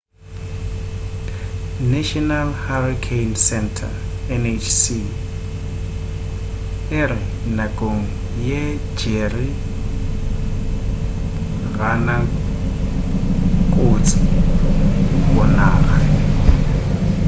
national hurricane center nhc e re nakong ye jerry ga na kotsi go naga